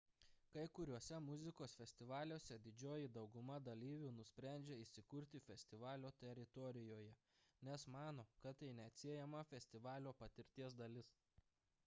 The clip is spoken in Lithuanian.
kai kuriuose muzikos festivaliuose didžioji dauguma dalyvių nusprendžia įsikurti festivalio teritorijoje nes mano kad tai neatsiejama festivalio patirties dalis